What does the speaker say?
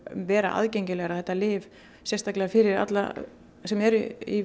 vera aðgengilegra þetta lyf sérstaklega fyrir alla sem eru í